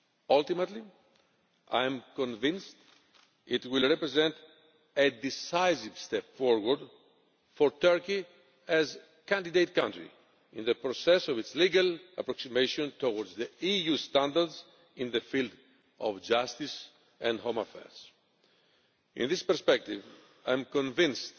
Ultimately, I am convinced it will represent a decisive step forward for Turkey as a candidate country in the process of its legal approximation towards EU standards in the field of justice and home affairs. In this perspective, I am convinced